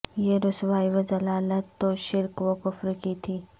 یہ رسوائی و ضلالت تو شرک و کفر کی تھی